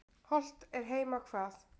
Hollt er heima hvað.